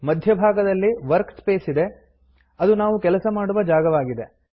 ಮಧ್ಯ ಭಾಗದಲ್ಲಿ ವರ್ಕ್ಸ್ಪೇಸ್ ಇದೆ ಅದು ನಾವು ಕೆಲಸ ಮಾಡುವ ಜಾಗವಾಗಿದೆ